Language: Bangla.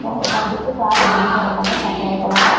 এবং এইখান থেকে কার্ড বিভিন্ন দোকানে সাপ্লাই করা হয় ।